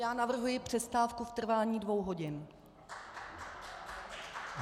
Já navrhuji přestávku v trvání dvou hodin.